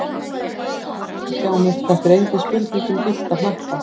sagði hún og settist hjá mér, þetta er engin spurning um gyllta hnappa!